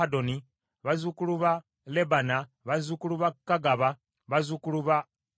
bazzukulu ba Lebana, bazzukulu ba Kagaba, bazzukulu ba Akkubu,